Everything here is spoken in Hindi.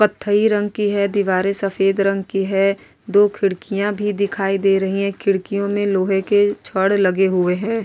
पथरी रंग की है दीवारे सफ़ेद रंग की है दो खिड़किया भी दिखाई दे रही है खिड़कियों में लोहे की छड़ लगे हुए है।